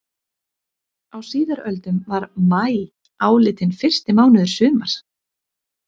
Á síðari öldum var maí álitinn fyrsti mánuður sumars.